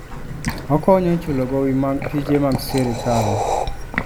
Okonyo e chulo gowi mag tije mag sirkal.